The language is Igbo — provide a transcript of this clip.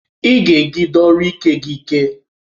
Ị ga-ejigide ọrụ Ike gị ike!